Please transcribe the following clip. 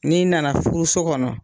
N'i nana furu so kɔnɔ